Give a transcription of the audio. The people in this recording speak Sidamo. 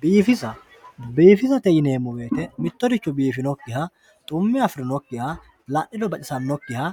biifisa bbiifisate yineemo woyiite mittoricho biifinokkiha dhumme afiriyookkiha la'niro baxisannokkiha